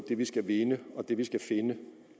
det vi skal vinde og det vi skal finde